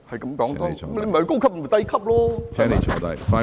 他不是高級，就是低級，對不對？